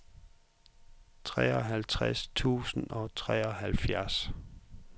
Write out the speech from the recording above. treoghalvtreds tusind og treoghalvfjerds